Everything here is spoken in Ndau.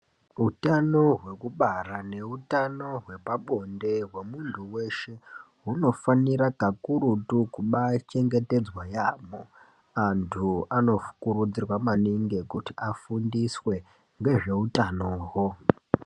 Utano hwekubara nehutano hwepabonde hwemundu weshe hunofanira kakurutu kuchengetedzwa nyaambo. Andu anokurudzirwa maningi kuti afundiswe nezvehutanoho.